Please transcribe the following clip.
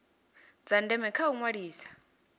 dza ndeme kha u ṅwalisa